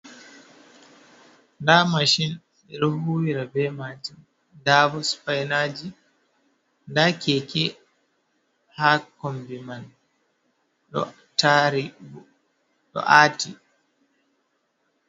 Da mashin bedohuwira be majun ,dabo spinaji dakeke ha kombi man do tari do ati.